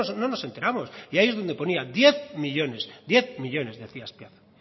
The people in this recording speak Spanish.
no nos esteramos y ahí en donde ponía diez millónes diez millónes decía azpiazu